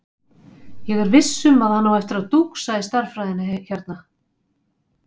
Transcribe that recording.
Ég er viss um að hann á eftir að dúxa í stærðfræðinni hérna.